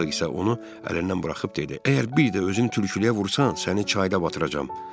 Hersoq isə onu əlindən buraxıb dedi: Əgər bir də özünü tülkülüyə vursan, səni çayda batıracam.